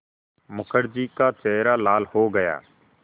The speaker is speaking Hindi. मुखर्जी का चेहरा लाल हो गया